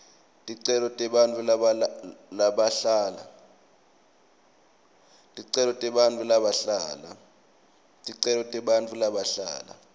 ticelo tebantfu labahlala